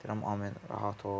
Deyirəm Amin rahat ol.